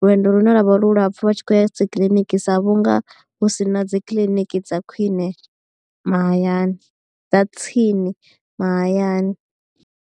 lwendo lune lwavha lulapfu vha tshi khou ya dzi kiḽiniki sa vhunga hu si na dzi kiḽiniki dza khwiṋe mahayani dza tsini mahayani.